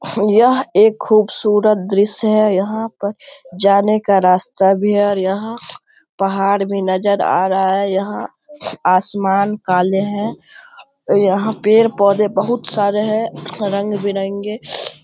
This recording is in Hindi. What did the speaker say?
यह एक खूबसूरत दृश्य है यहाँ पर जाने का रास्ता भी है और यहाँ पहाड़ भी नजर आ रहा है यहाँ आसमान काले है यहाँ पेड़-पौधे बहुत सारे है रंग-बिरंगे --